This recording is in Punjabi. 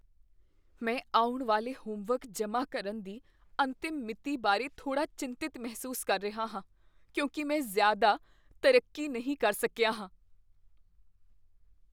ਮੈਂ ਆਉਣ ਵਾਲੇ ਹੋਮਵਰਕ ਜਮ੍ਹਾਂ ਕਰਨ ਦੀ ਅੰਤਿਮ ਮਿਤੀ ਬਾਰੇ ਥੋੜਾ ਚਿੰਤਤ ਮਹਿਸੂਸ ਕਰ ਰਿਹਾ ਹਾਂ ਕਿਉਂਕਿ ਮੈਂ ਜ਼ਿਆਦਾ ਤਰੱਕੀ ਨਹੀਂ ਕਰ ਸਕਿਆ ਹਾਂ।